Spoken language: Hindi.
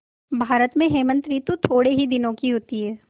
भारत में हेमंत ॠतु थोड़े ही दिनों की होती है